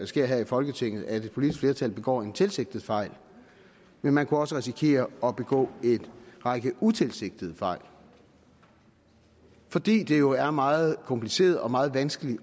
sker her i folketinget at et politisk flertal begår en tilsigtet fejl man kunne også risikere at begå en række utilsigtede fejl fordi det jo er meget kompliceret og meget vanskeligt